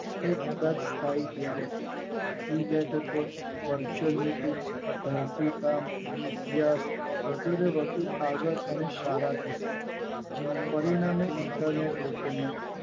એ કદાચ સારું થાય જાય છે એ બેઠકો વોરચુનીત્તી ભાન્તિકાળ અભ્યાસ વધુ ને વધુ આવત અને સારા છે કરીને અને ઈન્ટરનેટ લોકોનું